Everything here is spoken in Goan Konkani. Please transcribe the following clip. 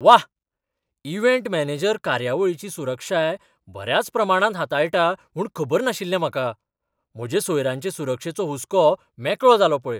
व्वा, इव्हँट मॅनेजर कार्यावळीची सुरक्षाय बऱ्याच प्रमाणांत हाताळटा म्हूण खबर नाशिल्लें म्हाका! म्हजे सोयऱ्यांचे सुरक्षेचो हुस्को मेकळो जालो पळय.